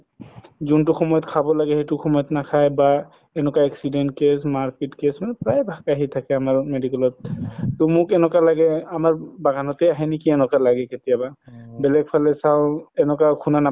যোনতো সময়ত খাব লাগে নাখাই বা এনেকুৱা accident case মাৰ পিত case প্ৰাই ভাগে আহি থাকে আমাৰ medical ত ট মোক এনেকুৱা লাগে আমাৰ বাগানতে আহে নেকি এনেকুৱা লাগে কেতিয়াবা বেলেগ ফালে চাও এনেকুৱা সুনা নাপাও